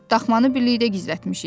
Daxmanı birlikdə gizlətmişik.